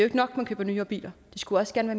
ikke nok man køber nyere biler de skulle også gerne